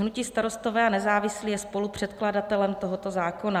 Hnutí Starostové a nezávislí je spolupředkladatelem tohoto zákona.